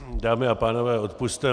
Dámy a pánové, odpusťte.